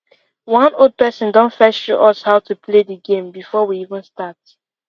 one old person don first sjow us how to play the game before we even start